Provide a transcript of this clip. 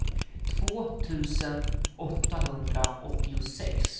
två tusen åttahundraåttiosex